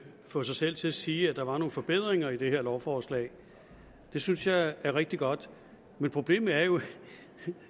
få sig selv til at sige at der var nogle forbedringer i det her lovforslag det synes jeg er rigtig godt men problemet er jo